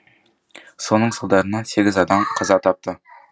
соның салдарынан сегіз адам қаза тапты